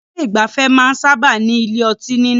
Ọ̀pọ̀ ilé ìgbafẹ́ máa ń sábáà ní ilé ọtí nínú.